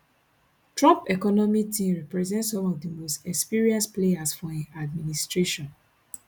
trump economic team represent some of di most experienced players for im administration